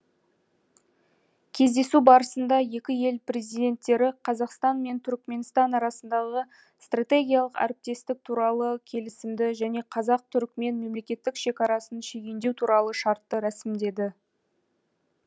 кездесу барысында екі ел президенттері қазақстан мен түрікменстан арасындағы стратегиялық әріптестік туралы келісімді және қазақ түрікмен мемлекеттік шекарасын шегендеу туралы шартты рәсімдеді